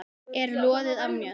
er loðið af mjöll.